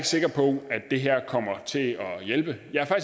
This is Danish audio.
sikker på at det her kommer til at hjælpe jeg er